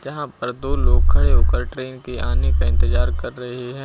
यहां पर दो लोग खड़े होकर ट्रेन के आने का इंतजार कर रहे हैं।